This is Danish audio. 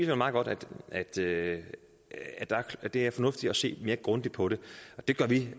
jo meget godt at det at det er fornuftigt at se mere grundigt på det og det gør vi